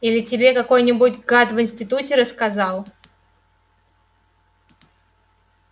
или тебе какой-нибудь гад в институте рассказал